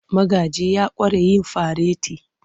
Magaji ya ƙware a yin fareti.